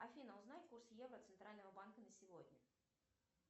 афина узнай курс евро центрального банка на сегодня